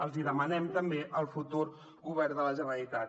l’hi demanem també al futur govern de la generalitat